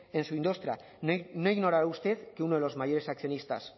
en su industria no ignorará usted que uno de los mayores accionistas